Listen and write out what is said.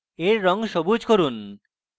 এর রঙ সবুজ করুন